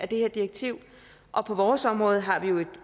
det her direktiv og på vores område har vi jo